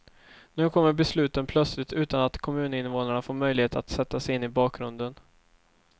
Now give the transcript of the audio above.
Nu kommer besluten plötsligt utan att kommuninvånarna fått möjlighet att sätta sig in i bakgrunden.